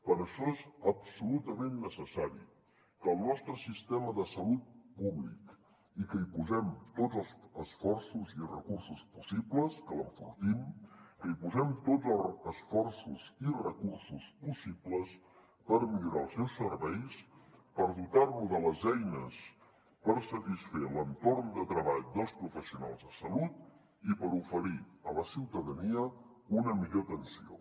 per això és absolutament necessari que al nostre sistema de salut públic hi posem tots els esforços i recursos possibles que l’enfortim que hi posem tots els esforços i recursos possibles per millorar els seus serveis per dotar lo de les eines per satisfer l’entorn de treball dels professionals de salut i per oferir a la ciutadania una millora atenció